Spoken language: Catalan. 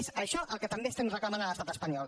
és això el que també estem reclamen a l’estat espanyol